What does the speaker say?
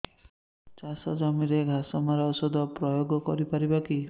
ଚାଷ ଜମିରେ ଘାସ ମରା ଔଷଧ ପ୍ରୟୋଗ କରି ପାରିବା କି